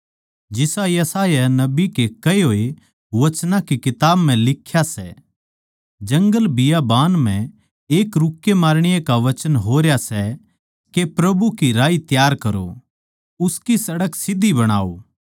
जिसा यशायाह नबी के कहे होए वचनां की किताब म्ह लिख्या सै जंगलबियाबान म्ह एक रुक्के मारणीये का वचन होरया सै के प्रभु की राही त्यार करो उसकी सड़क सीध्धी बणाओ